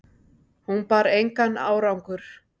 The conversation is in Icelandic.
Hún bar engan árangur